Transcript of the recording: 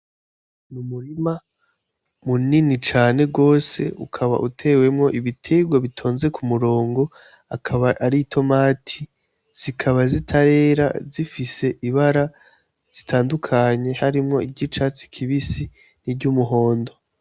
M umurima mu nini cane rwose ukaba utewemwo ibiterwo bitonze ku murongo akaba ari itomati zikaba zitarera zifise ibara zitandukanye harimwo iryo icatsi kibisi ni ry'umuhondo.